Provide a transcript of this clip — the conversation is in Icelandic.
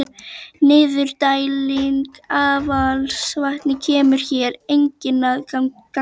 Niðurdæling affallsvatns kemur hér einnig að gagni.